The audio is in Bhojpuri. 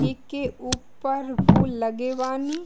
एके ऊपर फूल लगे बानी।